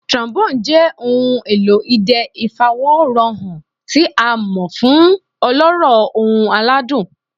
Trombone jẹ ohun elo idẹ ifaworanhan ti a mọ fun ọlọrọ, ohun aladun.